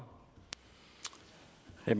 jeg